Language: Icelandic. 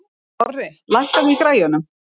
Orri, lækkaðu í græjunum.